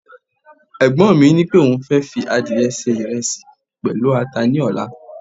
egbon mi nipé oun fe fi adìye se iresi pẹlu ata ni ọlá